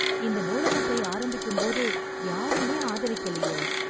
இந்த நூலகத்தை ஆரம்பிக்கும்போது யாருமே ஆதரிக்கலயே...